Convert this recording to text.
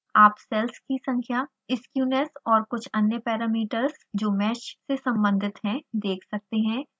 आप सेल्स की संख्या skewness और कुछ अन्य पैरामीटर्स जो मैश से सम्बंधित हैं देख सकते हैं